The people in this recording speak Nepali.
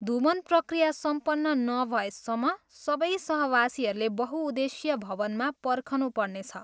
धूमन प्रक्रिया सम्पन्न नभएसम्म सबै सहवासीहरूले बहुउद्देशीय भवनमा पर्खनुपर्नेछ।